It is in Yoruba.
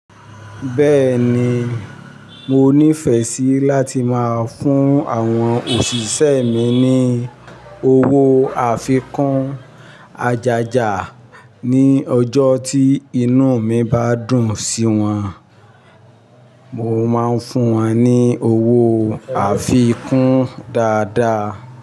Bẹ́ẹ̀ni, mo ní ìfẹ́ sí láti máa fún àwọn òṣìṣẹ́ mi ní owó àfikún ajaja ní ọjọ́ tí inú mi bá dùn sí wọn. Mo máa ń fún wọn ní owó àfikún dáadáa.